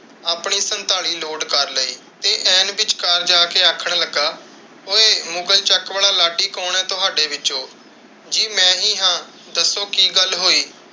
ਆਪਣੀ ਸੰਤਾਲੀ ਲੋਡ ਕਰ ਲਈ। ਤੇ ਐਨ ਵਿਚਕਾਰ ਜਾ ਕੇ ਆਖਣ ਲੱਗਾ, ਓਏ ਮੁਗ਼ਲ ਚੱਕ ਵਾਲਾ ਲਾਡੀ ਕੌਣ ਹੈ ਤੁਹਾਡੇ ਵਿੱਚੋ? ਜੀ ਮੈਂ ਹੀ ਹਾਂ, ਦੱਸੋ ਕਿ ਗੱਲ ਹੋਈ?